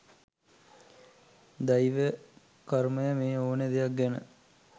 දෛවය කර්මය මේ ඕනෙ දෙයක් ගැන.